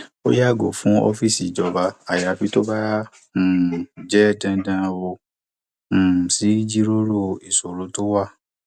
ó yàgò fún ọfíìsì ìjọba ayafi tó bá um jẹ dandan ó um sì jíròrò ìṣòro tó wà